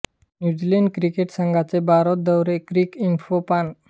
new Zealand cricket संघाचे भारत दौरे Cricinfo पान